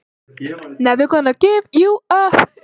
Jóhann: Náið þið að skila lágmarksfjölda eða hámarksfjölda?